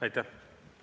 Aitäh!